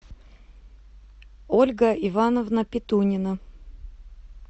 ольга ивановна петунина